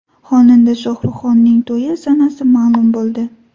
Xonanda Shohruxxonning to‘yi sanasi ma’lum bo‘ldi .